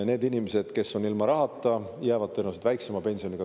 Need inimesed, kes on nüüd ilma rahata, saavad tulevikus tõenäoliselt väiksemat pensioni.